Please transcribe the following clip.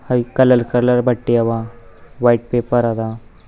ಅಲ್ಲಿ colour colour ಬಟ್ಟೆ ಅವ ವೈಟ್ ಪೇಪರ್ ಅದ.